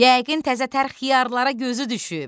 Yəqin təzə tər xiyarlara gözü düşüb.